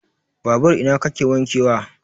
Babur ina kake wanke wa?